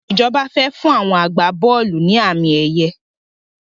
Ìjọba fẹ fún àwọn agbá-bọ́ọ́lù ni àmì ẹ̀yẹ